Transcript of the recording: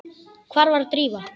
Hvar var Drífa?